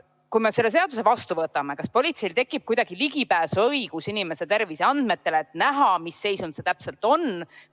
Kui me selle seaduse vastu võtame, kas politseil tekib kuidagi õigus pääseda ligi inimese terviseandmetele, et näha, mis seisund see täpselt on?